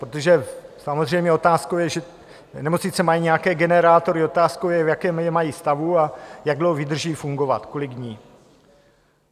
Protože samozřejmě otázkou je, že nemocnice mají nějaké generátory, otázkou je, v jakém je mají stavu a jak dlouho vydrží fungovat, kolik dní.